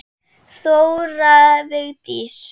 Þóra Vigdís.